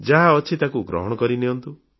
ଯାହା ଅଛି ତାକୁ ଗ୍ରହଣ କରିନିଅନ୍ତୁ